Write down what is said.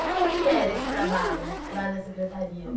E como que era esse trabalho lá na secretaria?